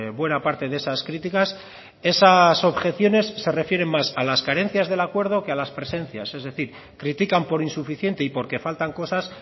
buena parte de esas críticas esas objeciones se refieren más a las carencias del acuerdo que a las presencias es decir critican por insuficiente y porque faltan cosas